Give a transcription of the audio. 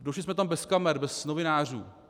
Došli jsme tam bez kamer, bez novinářů.